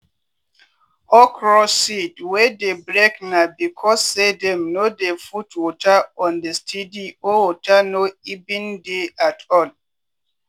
okro seed wey dey break na becos say dem no dey put water on a steady or water no even dey at all.